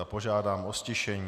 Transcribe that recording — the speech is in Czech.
A požádám o ztišení.